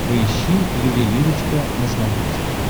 поищи ювелирочка на смотрешке